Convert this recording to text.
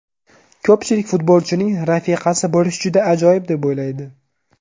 Ko‘pchilik futbolchining rafiqasi bo‘lish juda ajoyib deb o‘ylaydi.